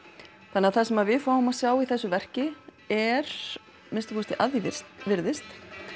þannig að það sem við fáum að sjá í þessu verki er að minnsta kosti að því er virðist